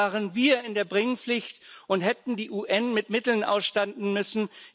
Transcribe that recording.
Da waren wir in der Bringpflicht und hätten die UN mit Mitteln ausstatten müssen.